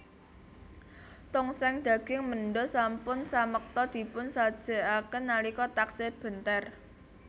Tongseng daging menda sampun samekta dipun sajekaken nalika taksih benter